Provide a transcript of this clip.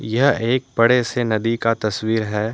यह एक बड़े से नदी का तस्वीर है।